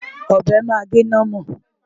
Ọ̀bẹ máa gé námọ̀.